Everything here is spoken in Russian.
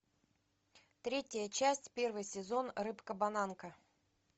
третья часть первый сезон рыбка бананка